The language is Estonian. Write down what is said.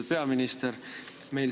Lugupeetud peaminister!